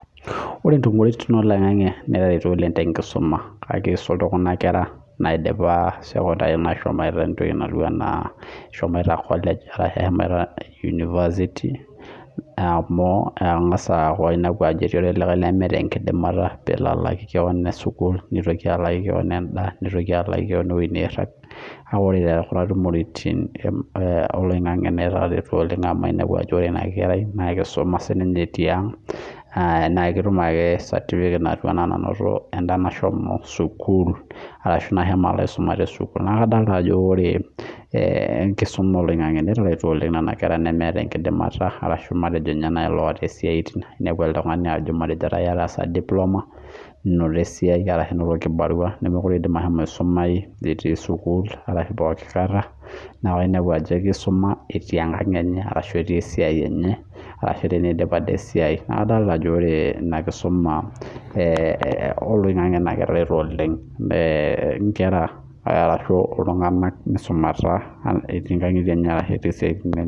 Ore ntumoritin oloingangi netareto oleng tenkisuma akisul tekunakwra naidipa sekondari neshomoita kolej ashu unipasiti amu engasa aaku etii likae lemeta enkidimata nitokibalaaki keon sukul nitoki alaaki Kwon ewoi nairag na ore kuna tumoritin netareto oleng amu ore enakerai nakisuma tiang na ketum ake sinye satipiket natum elde oisume tesukul neaku kadol ajo ore enkisuma oloingangi nasidai oleng twkuna kera nemeeta enkidimata arashu meeta siatin inepu oltungani otaasa diploma ninoto esiai nemekute idim ashomo sukul neaku inepu ajo etii enkang enye ashu tenidip ade esiai etereto oleng nkera misumata etii nkangitie enye ashu etii siatin enye